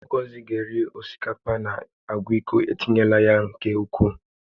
Oge ọzọ ị ga-eri osikapa na agwa iko, etinyela ya nke ukwuu